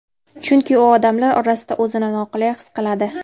Chunki u odamlar orasida o‘zini noqulay his qiladi.